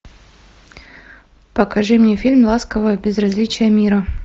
покажи мне фильм ласковое безразличие мира